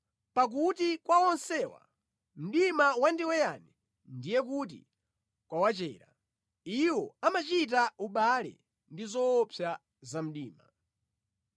Pakuti kwa onsewa mdima wandiweyani ndiye kuti kwawachera. Iwo amachita ubale ndi zoopsa za mdima.